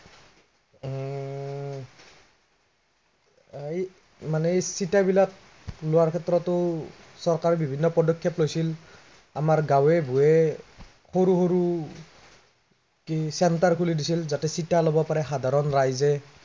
আহ এই মানে এৰ চিটা বিলাক, লোৱাৰ ক্ষেত্ৰতো, চৰকাৰে বিভিন্ন পদক্ষেপ লৈছিল, আমাৰ গাঁৱে ভূঞে সৰু সৰু, centre খুলি দিছিল যাতে চিটা ল'ব পাৰে সাধাৰণ ৰাইজে